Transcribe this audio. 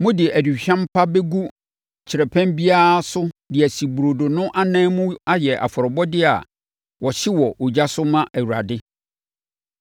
Mode aduhwam pa bɛgu kyerɛpɛn biara ho de asi burodo no anan mu ayɛ afɔrebɔdeɛ a wɔhye wɔ ogya so ma Awurade.